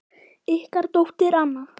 Ykkar dóttir, Anna.